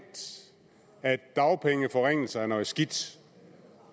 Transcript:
at dagpengeforringelser er noget skidt